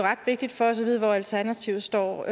ret vigtigt for os at vide hvor alternativet står